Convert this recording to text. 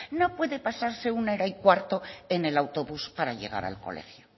no puede pasarse bath quince min en el autobús para llegar al colegio